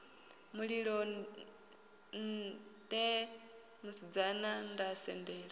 mulilo nṋe musidzana nda sendela